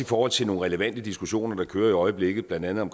forhold til nogle relevante diskussioner der kører i øjeblikket blandt andet om